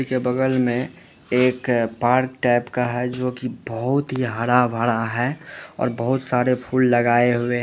बगल में एक पार्क टाइप का है जो की बोहोत ही हरा-भरा है और बोहोत सारे फूल लगाए हुए --